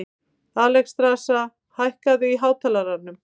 Alexstrasa, hækkaðu í hátalaranum.